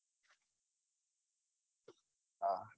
હા